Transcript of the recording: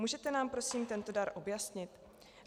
Můžete nám prosím tento dar objasnit?